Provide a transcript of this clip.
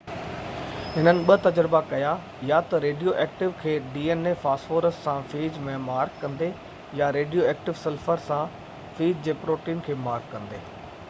هنن ٻہ تجربا ڪيا يا تہ ريڊيو ايڪٽو فاسفورس سان فيج ۾ dna کي مارڪ ڪندي يا ريڊيو ايڪٽو سلفر سان فيج جي پروٽين کي مارڪ ڪندي